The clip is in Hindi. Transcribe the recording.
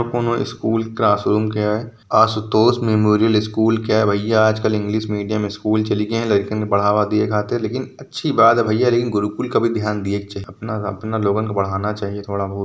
कोनो स्कूल क्लासरूम के ह आशुतोष मेमोरियल स्कूल के है भईया आजकल इंग्लिश मीडियम चली गए है लइकन के बढ़ावा दिए खातिर लेकिन अच्छी बात है भईया लेकिन गुरुकुल का भी ध्यान दिए के चाही अपना अपना लोगन के बढ़ाना चाहिए थोड़ा बहुत।